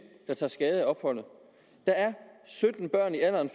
der tager skade af opholdet der er sytten børn i alderen